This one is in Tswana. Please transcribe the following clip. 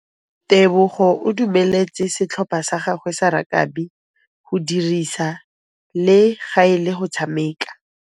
Tebogô o dumeletse setlhopha sa gagwe sa rakabi go dirisa le galê go tshameka.